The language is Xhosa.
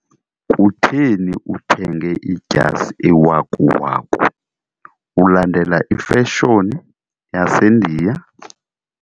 Kutheni uthenge idyasi ewakuwaku, ulandela ifashoni yaseNdiya?